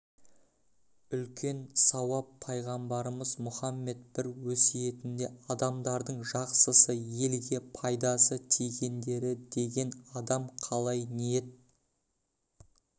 үлкен сауап пайғамбарымыз мұхаммед бір өсиетінде адамдардың жақсысы елге пайдасы тигендері деген адам қалай ниет